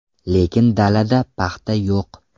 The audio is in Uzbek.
Lekin dalada paxta yo‘q.